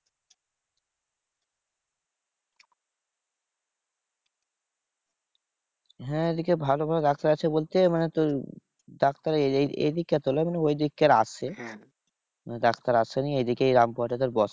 হ্যাঁ এইদিকে ভালো ভালো ডাক্তার আছে বলতে মানে তোর ডাক্তার এদিককার তো নেই ওইদিককার আছে। ডাক্তার আসেনি এইদিকে এই রামপুরহাট এ তোর বসে।